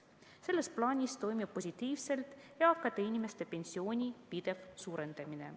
Selles plaanis toimib positiivselt eakate inimeste pensioni pidev suurendamine.